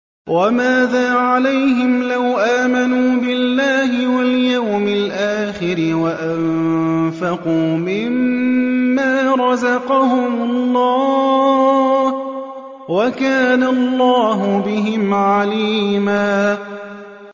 وَمَاذَا عَلَيْهِمْ لَوْ آمَنُوا بِاللَّهِ وَالْيَوْمِ الْآخِرِ وَأَنفَقُوا مِمَّا رَزَقَهُمُ اللَّهُ ۚ وَكَانَ اللَّهُ بِهِمْ عَلِيمًا